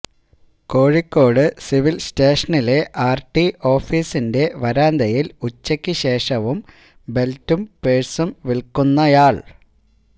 Kozhikode civil സ്റ്റേഷനിലെ RT ഓഫിസിന്റെ വരാന്തയിൽ ഉച്ചയ്ക്കു ശേഷം ബെൽറ്റും പഴ്സും വിൽക്കുന്നയാൾ